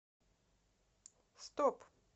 стоп